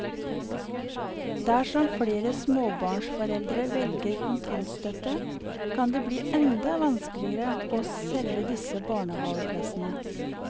Dersom flere småbarnsforeldre velger kontantstøtte, kan det bli enda vanskeligere å selge disse barnehaveplassene.